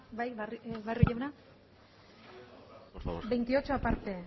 bai barrio jauna por favor veintiocho aparte